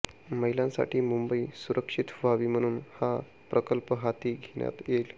महिलांसाठी मुंबई सुरक्षित व्हावी म्हणून हा प्रकल्प हाती घेण्यात येईल